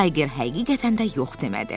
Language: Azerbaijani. Tayger həqiqətən də yox demədi.